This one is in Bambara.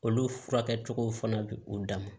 Olu furakɛ cogow fana bɛ u dama